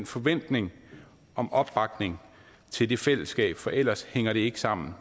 forventning om opbakning til det fællesskab for ellers hænger det ikke sammen